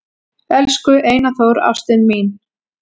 """Elsku Einar Þór, ástin mín,"""